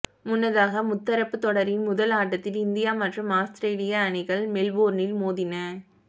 முன்னதாக முத்தரப்பு தொடரின் முதல் ஆட்டத்தில் இந்தியா மற்றும் ஆஸ்திரே லிய அணிகள் மெல்போர்னில் மோதி ன